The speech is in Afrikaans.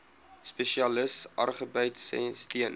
spesialis agribesigheid steun